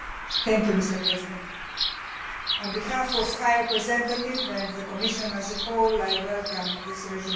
Mr President, on behalf of the High Representative and the Commission as a whole, I welcome this resolution.